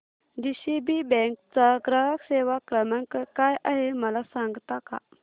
DCB bank चा ग्राहक सेवा क्रमांक काय आहे मला सांगता का